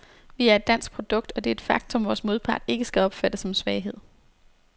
Vi er et dansk produkt, og det er et faktum, vores modpart ikke skal opfatte som en svaghed.